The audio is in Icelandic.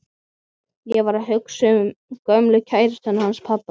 Ég var að hugsa um gömlu kærustuna hans pabba.